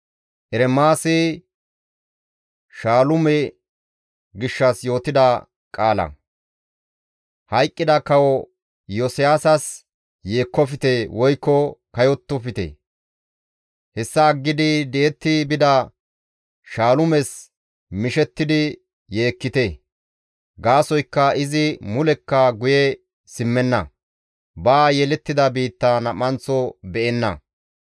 Hayqqida Kawo Iyosiyaasas yeekkofte woykko kayottofte; Hessa aggidi di7etti bida Shaalumes mishettidi yeekkite. Gaasoykka izi mulekka guye simmenna; ba yelettida biitta nam7anththo be7enna.